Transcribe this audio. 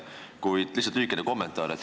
Kuid lihtsalt lühikene kommentaar.